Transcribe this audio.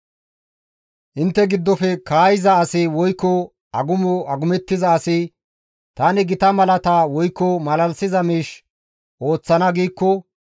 Intte giddofe kaayiza asi woykko agumo agumettiza asi, «Tani gita malaata woykko malalisiza miish ooththana» giikko,